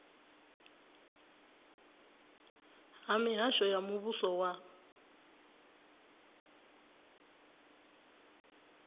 ha mihasho ya muvhuso wa